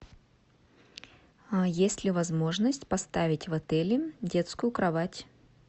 есть ли возможность поставить в отеле детскую кровать